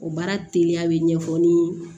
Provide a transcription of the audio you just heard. O baara teliya bɛ ɲɛfɔ nii